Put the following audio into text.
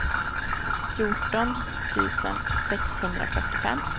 fjorton tusen sexhundrafyrtiofem